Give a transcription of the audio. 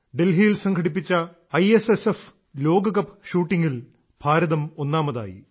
ഡൽഹിയിൽ സംഘടിപ്പിച്ച I S S F ലോക കപ്പ് ഷൂട്ടിംഗിൽ ഭാരതം ഒന്നാമതായി